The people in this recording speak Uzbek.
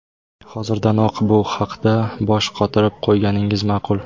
Hozirdanoq bu haqda bosh qotirib qo‘yganingiz ma’qul.